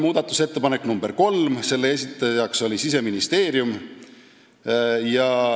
Muudatusettepaneku nr 3 esitaja oli Siseministeerium.